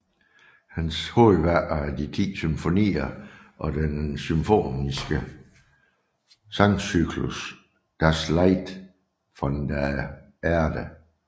Hans hovedværker er de ti symfonier og den symfoniske sangcyklus Das Lied von der Erde